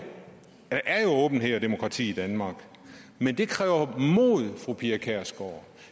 er åbenhed og demokrati i danmark men det kræver mod fru pia kjærsgaard